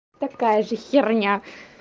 такая же херня